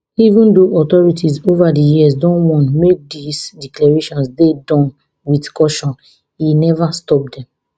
even though authorities over di years don warn make dis declarations dey Accepted with caution e never stop dem